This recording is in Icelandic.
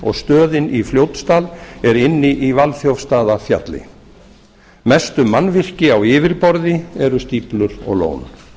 og stöðin í fljótsdal er inni í valþjófsstaðafjalli mestu mannvirki á yfirborði eru stíflur og lón